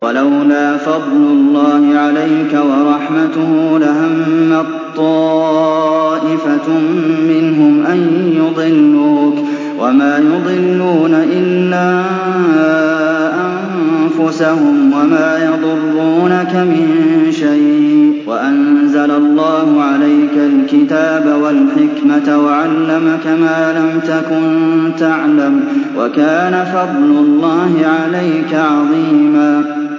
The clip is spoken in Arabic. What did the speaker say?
وَلَوْلَا فَضْلُ اللَّهِ عَلَيْكَ وَرَحْمَتُهُ لَهَمَّت طَّائِفَةٌ مِّنْهُمْ أَن يُضِلُّوكَ وَمَا يُضِلُّونَ إِلَّا أَنفُسَهُمْ ۖ وَمَا يَضُرُّونَكَ مِن شَيْءٍ ۚ وَأَنزَلَ اللَّهُ عَلَيْكَ الْكِتَابَ وَالْحِكْمَةَ وَعَلَّمَكَ مَا لَمْ تَكُن تَعْلَمُ ۚ وَكَانَ فَضْلُ اللَّهِ عَلَيْكَ عَظِيمًا